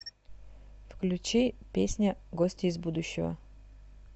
включи песня гости из будущего